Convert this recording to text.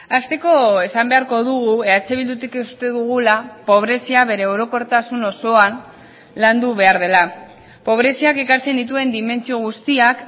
hasteko esan beharko dugu eh bildutik uste dugula pobrezia bere orokortasun osoan landu behar dela pobreziak ekartzen dituen dimentsio guztiak